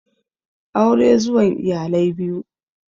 Aure zuwan iyalai biyu